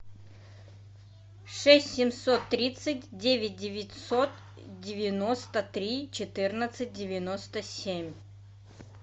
шесть семьсот тридцать девять девятьсот девяносто три четырнадцать девяносто семь